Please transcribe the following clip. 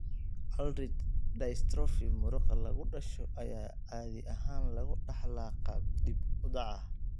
Ullrich dystrophy muruqa lagu dhasho ayaa caadi ahaan lagu dhaxlaa qaab dib u dhac ah